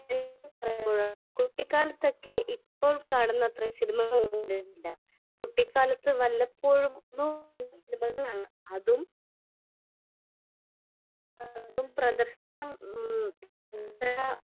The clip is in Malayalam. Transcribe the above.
സ്പീക്കർ 1 കുട്ടിക്കാലത്തൊക്കെ ഇപ്പോൾ കാണുന്ന അത്ര സിനിമകൾ ഒന്നുമില്ല . കുട്ടിക്കാലത്ത് വല്ലപ്പോഴും ഉള്ള സിനിമകളാണ് . അതും പ്രദർശനം